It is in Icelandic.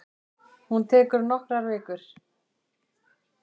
Hún tekur nokkrar vikur.